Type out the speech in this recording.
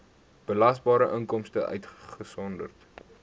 belasbare inkomste uitgesonderd